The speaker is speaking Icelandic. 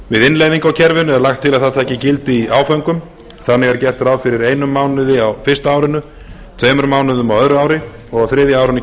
við innleiðingu á kerfinu er lagt til að það taki gildi í áföngum þannig er gert ráð fyrir einum mánuði á fyrsta árinu tveimur mánuðum á öðru ári og á þriðja árinu